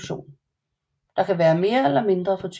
Den kan være mere eller mindre fortykket